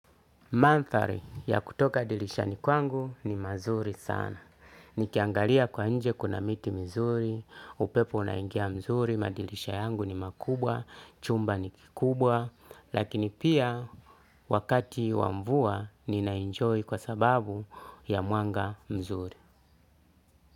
Mandhari ya kutoka dirishani kwangu ni mazuri sana. Nikiangalia kwa nje kuna miti mizuri, upepo unaingia nzuri, madirisha yangu ni makubwa, chumba ni kikubwa, lakini pia wakati wa mvua ninaenjoy kwa sababu ya mwanga mzuri.